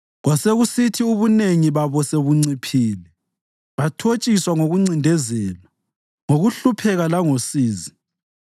Kwasekusithi ubunengi babo sebunciphile, bathotshiswa ngokuncindezelwa, ngokuhlupheka langosizi;